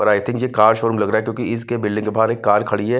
और I think ये car showroom लग रहा है क्योंकि इसके बिल्डिंग के बाहर एक कार खड़ी है।